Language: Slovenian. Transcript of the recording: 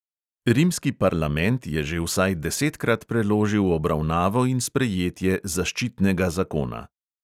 Rimski parlament je že vsaj desetkrat preložil obravnavo in sprejetje zaščitnega zakona.